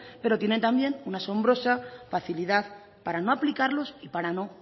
pero tienen también una asombrosa facilidad para no aplicarlos y para no